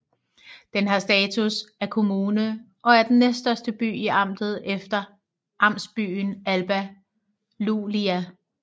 Den har status af kommune og er den næststørste by i amtet efter amtsbyen Alba Iulia